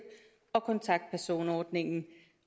og kontaktpersonordningen